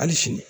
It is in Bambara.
Hali sini